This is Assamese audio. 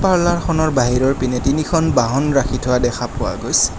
পাৰ্লাৰখনৰ বাহিৰৰ পিনেদি তিনিখন বাহন ৰাখি থোৱা দেখা পোৱা গৈছে।